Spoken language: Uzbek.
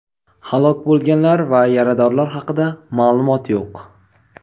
Halok bo‘lganlar va yaradorlar haqida ma’lumot yo‘q.